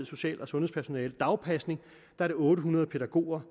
social og sundhedspersonale dagpasning er det otte hundrede pædagoger